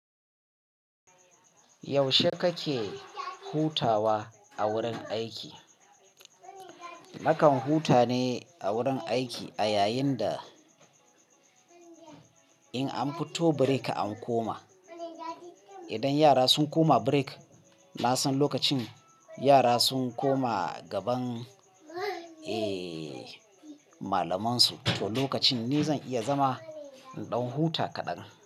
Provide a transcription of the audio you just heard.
Yaushe kake hutawa a wurin aiki? Nakan huta ne a wurin aiki a yayin da in an fito break an koma. Idan yara sun koma break, na san lokacin yara sun koma gaban, eh, malamansu. To lokacin ni zan iya zama in ɗan huta kaɗan.